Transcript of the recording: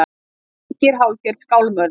Þar ríkir hálfgerð skálmöld